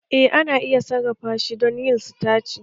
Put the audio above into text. Eh ana iya sarrafa shi don yin sitaci